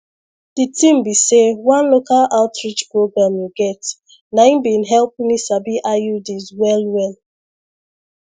the thing be say one local outreach program you get nai been help me sabi iuds well well